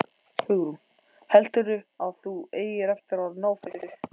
Hugrún: Heldurðu að þú eigir eftir að ná þessu?